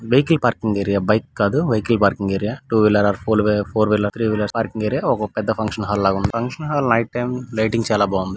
Vehicle parking area bike కాదు vehicle parking area two wheeler ఫోల్ four wheeler three wheelers parking area ఒక పెద్ద function hall లాగుంది. Function hall night time lighting చాలా బాగుంది.